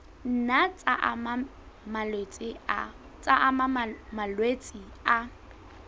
nna tsa ama malwetse a